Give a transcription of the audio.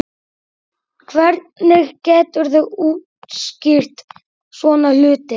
Hvernig geturðu útskýrt svona hluti?